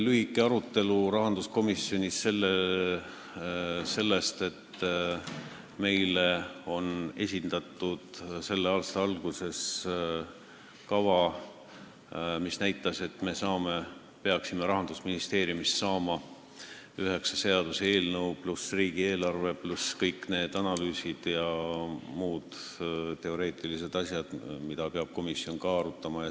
Lõpuks oli rahanduskomisjonis veel lühike arutelu selle üle, et meile on selle aasta alguses esitatud kava, mille järgi me peaksime Rahandusministeeriumist saama üheksa seaduseelnõu, pluss riigieelarve, pluss kõik analüüsid ja muud teoreetilised asjad, mida komisjon peab ka arutama.